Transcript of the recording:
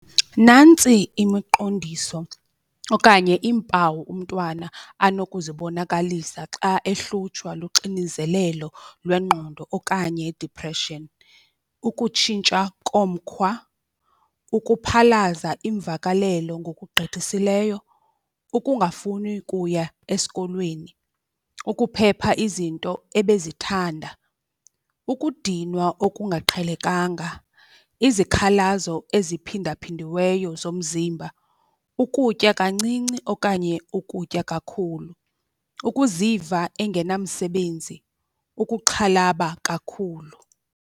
Nantsi imiqondiso okanye iimpawu umntwana anokuzibonakalisa xa ehlutshwa luxinizelelo lwengqondo okanye i-depression. Ukutshintsha komkhwa, ukuphalaza iimvakalelo ngokugqithisileyo, ukungafuni kuya esikolweni, ukuphepha izinto ebezithanda, ukudinwa okungaqhelekanga, izikhalazo eziphinda phindiweyo zomzimba, ukutya kancinci okanye ukutya kakhulu, ukuziva engenamsebenzi, ukuxhalaba kakhulu.